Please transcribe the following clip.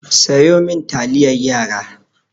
Sayo min taliyar yara!